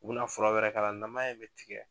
U bina fura wɛrɛ k'a la namaya in me tigɛ